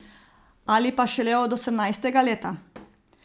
Ali pa šele od osemnajstega leta?